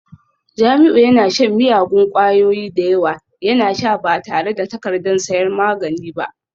Jamiu yana shan miyagun kwayoyi da yawa, yana sha ba tare da takardar sayan magani ba